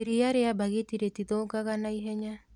Iria rĩa mbagiti rĩtithũkaga naihenya